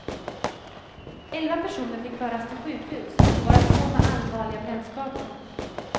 Elva personer fick föras till sjukhus, varav två med allvarliga brännskador.